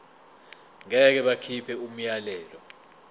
ngeke bakhipha umyalelo